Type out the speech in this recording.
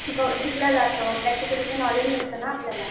शिकल्या जातं प्रॅक्टिकली ते नॉलेज मिळतं ना आपल्याला.